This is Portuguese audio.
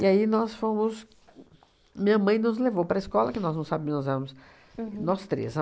E aí nós fomos, minha mãe nos levou para a escola, que nós não sabe nós éramos nós três.